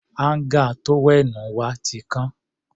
Áńgà tówẹ́ẹ̀nù wa ti kán.